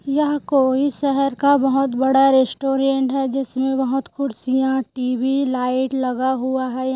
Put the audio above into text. यह कोई शहर का बहोत बड़ा रेस्टोरेंट हैं जिसमे बहुत कुर्सियां टी. वी. लाइट लगा हुआ हैं।